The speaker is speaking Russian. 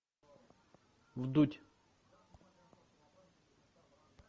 вдудь